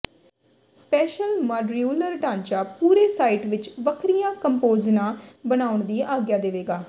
special modular ਢਾਂਚਾ ਪੂਰੇ site ਵਿਚ ਵੱਖਰੀਆਂ ਕੰਪੋਜਨਾਂ ਬਣਾਉਣ ਦੀ ਆਗਿਆ ਦੇਵੇਗਾ